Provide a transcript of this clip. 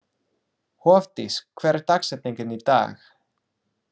Hofdís, hver er dagsetningin í dag?